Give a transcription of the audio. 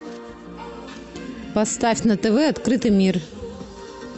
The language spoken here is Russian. поставь на тв открытый мир